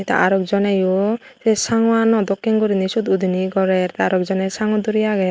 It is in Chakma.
aro ekjoneyo se sango ano dokken gurinei siot gurinei gorer te arow ek joney sangwo duri agey.